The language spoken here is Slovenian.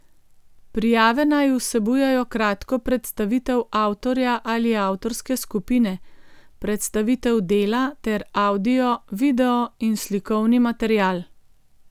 Prijave naj vsebujejo kratko predstavitev avtorja ali avtorske skupine, predstavitev dela ter avdio, video in slikovni material.